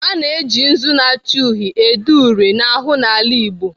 A na-eji nzu na-acha uhie ede uri n'ahụ n'ala Igbo.